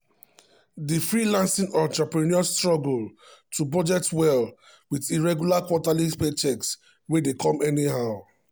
di freelancing entrepreneur struggle to budget well with irregular quarterly paychecks wey dey come anyhow.